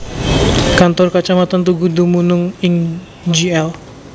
Kantor Kacamatan Tugu dumunung ing Jl